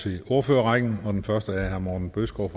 til ordførerrækken og den første er herre morten bødskov